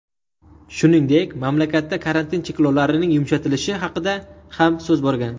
Shuningdek, mamlakatda karantin cheklovlarining yumshatilishi haqida ham so‘z borgan.